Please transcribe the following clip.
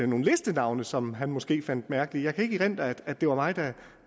nogle listenavne som han måske fandt mærkelige jeg kan ikke erindre at det var mig